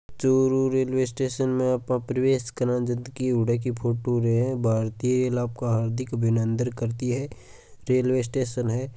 Churu railway station में आपा प्रवेश करा जदकी हुडा की फोटो रह है भारतीय रेल आपका हार्दिक अभिनंदन करती है रेल्वे स्टेशन है।